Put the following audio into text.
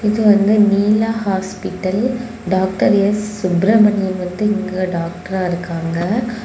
இங்க வந்து Neela hospital doctor S Subramaniam வந்து இங்கே டாக்டரா இருக்காங்க.